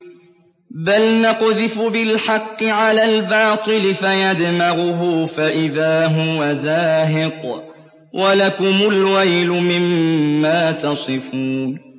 بَلْ نَقْذِفُ بِالْحَقِّ عَلَى الْبَاطِلِ فَيَدْمَغُهُ فَإِذَا هُوَ زَاهِقٌ ۚ وَلَكُمُ الْوَيْلُ مِمَّا تَصِفُونَ